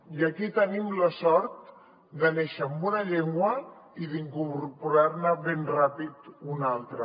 i aquí tenim la sort de néixer amb una llengua i d’incorporar ne ben ràpid una altra